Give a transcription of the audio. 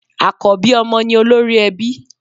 Àkọ́bí ọmọ ni olórí ẹbí.